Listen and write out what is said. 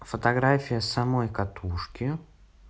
фотография самой катушки